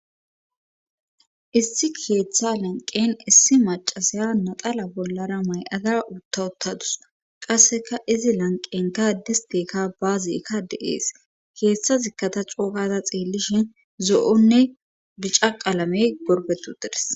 issi keeththa lenqen issi macasaya naxala bollara may7ada utta uttadus qasseka izi lanqen gaadisteka baazikka deees keeththa zikkata coogaza xeellishin zo7onne dicaqalamey gorbetu deres